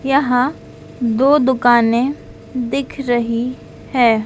यहां दो दुकाने दिख रही है।